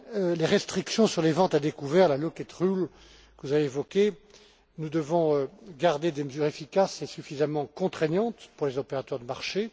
Concernant les restrictions sur les ventes à découvert, la locate rule que vous avez évoquée, nous devons garder des mesures efficaces et suffisamment contraignantes pour les opérateurs de marché.